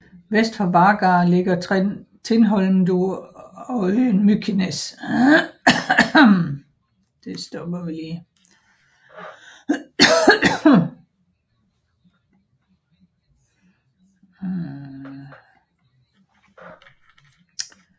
Vest for Vágar ligger Tindhólmur og øen Mykines